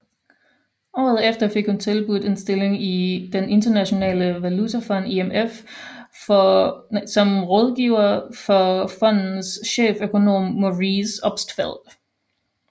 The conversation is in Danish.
Året efter fik hun tilbudt en stilling i Den Internationale Valutafond IMF som rådgiver for fondens cheføkonom Maurice Obstfeld